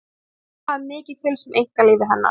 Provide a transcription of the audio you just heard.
fjölmiðlar hafa mikið fylgst með einkalífi hennar